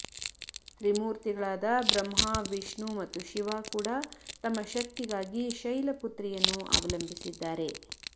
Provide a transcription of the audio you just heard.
ತ್ರಿಮೂತ್ರಿಗಳಾದ ಬ್ರಹ್ಮ ವಿಷ್ಣು ಮತ್ತು ಶಿವ ಕೂಡ ತಮ್ಮ ಶಕ್ತಿಗಾಗಿ ಶೈಲಪುತ್ರಿಯನ್ನು ಅವಲಂಬಿಸಿದ್ದಾರೆ